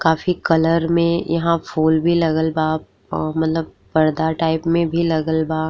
काफी कलर में यहां फूल भी लगल बा अ मतलब पर्दा टाइप में भी लगल बा।